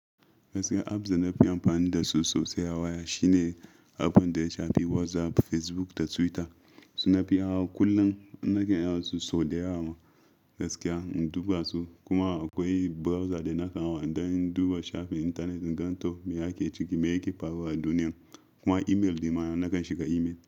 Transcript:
Gaskiya apps da na fi amfani dasu sosai a waya shine app ɗin da ya shafi WhatsApp, Facebook da Twitter. Su nafi hawa kullum nakan hawan su sau da yawa ma gaskiya in duba su. Kuma akwai browser da nakan hawa in ɗan duba shafin intanet, gan to me ake ciki, me yake faruwa a duniya. Kuma email, nema nakan shiga email.